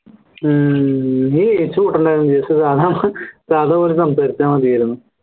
ഹും നീ സാധാ പോലെ സംസാരിച്ചാ മതിയായിരുന്നു